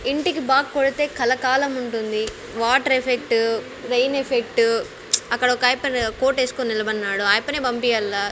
ఇంటికి బాగ్ కొడితే కలకాలం ఉంటుంది వాటర్ ఎఫెక్ట్ రైన్ ఎఫెక్ట్ అక్కడ ఒకాయప్ప కోటేసుకొని నిలబడ్నాడు ఆయప్పనే పంపియల్ల --